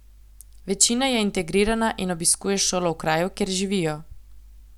Večina je integrirana in obiskuje šolo v kraju, kjer živijo.